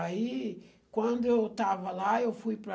Aí, quando eu estava lá, eu fui para...